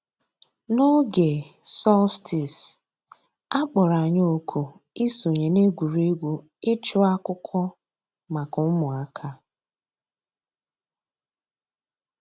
N'ǒgè solstice, a kpọ̀rọ̀ ànyị̀ òkù ìsọǹyé n'ègwè́ré́gwụ̀ ịchụ̀ àkụ̀kwò mǎká ǔ́mụ̀àkà.